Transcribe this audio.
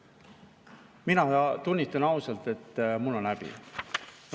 Mina tunnistan ausalt, et mul on häbi.